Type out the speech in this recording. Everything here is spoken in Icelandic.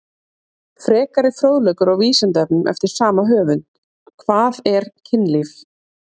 Frekari fróðleikur á Vísindavefnum eftir sama höfund: Hvað er kynlíf?